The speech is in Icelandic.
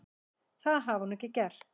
Það hafi hún ekki gert.